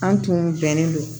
An tun bɛnnen don